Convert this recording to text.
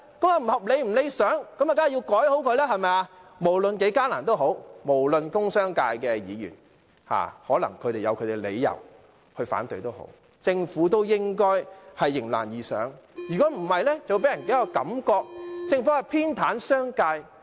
既然如此，便應改善，無論多麼困難，或工商界議員有何理由反對，政府都應迎難而上，否則便會予人一種感覺，即政府偏袒商界。